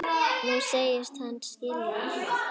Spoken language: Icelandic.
Nú segist hann skilja allt.